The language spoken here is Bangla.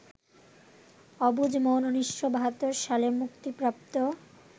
অবুঝ মন ১৯৭২ সালে মুক্তিপ্রাপ্ত